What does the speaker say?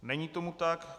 Není tomu tak.